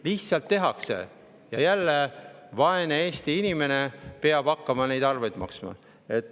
Lihtsalt tehakse nipsti ja jälle vaene Eesti inimene peab hakkama neid arveid maksma.